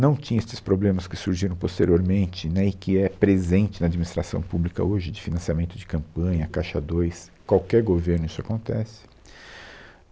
Não tinha esses problemas que surgiram posteriormente né, e que é presente na administração pública hoje, de financiamento de campanha, Caixa dois, qualquer governo isso acontece.